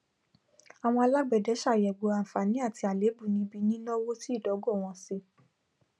àwọn alágbẹdẹ sàgbéyẹwò àǹfààní àti àléébù níbí nínáwó sí ìdógò wọn sí